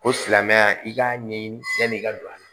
Ko silamɛya i k'a ɲɛɲini i ka don a la